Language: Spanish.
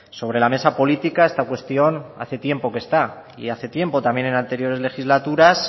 sobre la mesa política esta cuestión hace tiempo que está y hace tiempo también en anteriores legislaturas